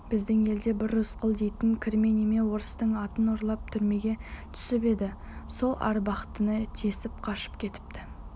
біздің елде бір рысқұл дейтін кірме неме орыстың атын ұрлап түрмеге түсіп еді сол абақтыны тесіп қашып кетіпті